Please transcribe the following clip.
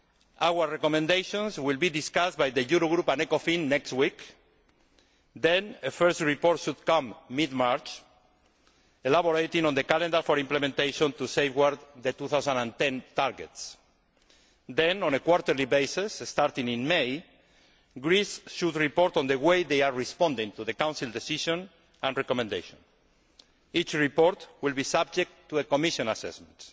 Our recommendations will be discussed by the Eurogroup and Ecofin next week, and then a first report should come in mid March elaborating on the calendar for implementation to safeguard the 2010 targets. Then, on a quarterly basis, starting in May, Greece should report on the way in which they are responding to the Council decision and recommendation. Each report will be subject to a Commission assessment.